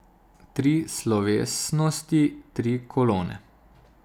Tri slovesnosti, tri kolone.